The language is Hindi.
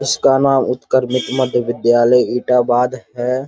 इसका नाम उत्क्रमित मध्य विद्यालय इटाबाद है।